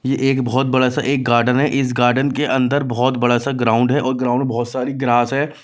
ये एक बहुत बड़ा सा एक गार्डन है इस गार्डन के अंदर बहुत बड़ा सा ग्राउंड है और ग्राउंड में बहुत सारी ग्रास है।